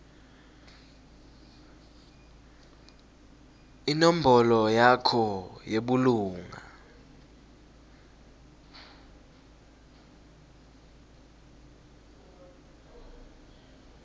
inombolo yakho yebulunga